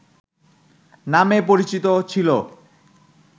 নামে পরিচিত ছিল